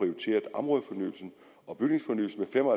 områdefornyelsen og bygningsfornyelsen fem og